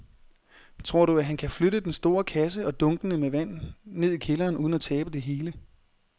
Tror du, at han kan flytte den store kasse og dunkene med vand ned i kælderen uden at tabe det hele?